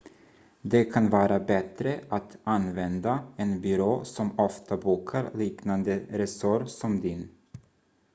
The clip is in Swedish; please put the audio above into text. det kan vara bättre att använda en byrå som ofta bokar liknande resor som din